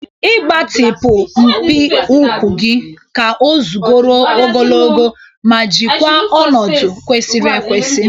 Ị gbatịpụ mpi ukwu gị ka o guzoro ogologo ma jikwaa ọnọdụ kwesịrị ekwesị.